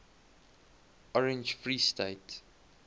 orange free state